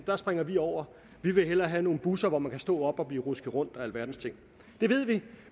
der springer vi over vi vil hellere have nogle busser hvor man kan stå op og blive rusket rundt og alverdens ting det ved vi